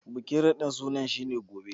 Bikin radin suna shi ne Gobe.